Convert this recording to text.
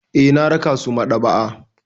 Eh, na raka su maɗaba'a.